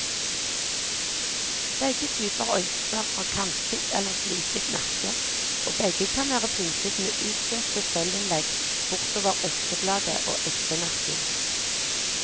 Begge typer økser har kantet eller fliket nakke, og begge kan være pyntet med utsøkte sølvinnlegg bortover øksebladet og øksenakken.